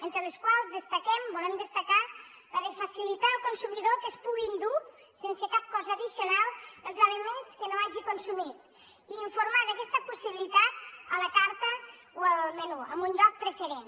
entre les quals destaquem volem destacar la de facilitar al consumidor que es pugui endur sense cap cost addicional els aliments que no hagi consumit i informar d’aquesta possibilitat a la carta o al menú en un lloc preferent